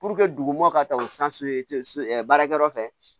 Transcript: dugumɔgɔ ka taa o baarakɛyɔrɔ fɛ